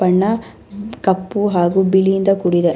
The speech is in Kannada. ಬಣ್ಣ ಕಪ್ಪು ಹಾಗು ಬಿಳಿ ಇಂದ ಕೂಡಿದೆ.